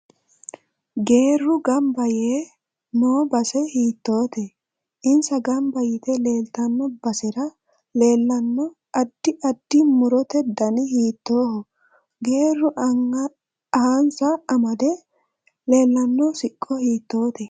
Geeru ganba yee noo base hiitoote insa ganba yite leeltanno basera leelanno addi addi murote dani hiitooho geeru anhasani amade leelanno siqqo hiitoote